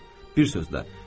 Bir sözlə.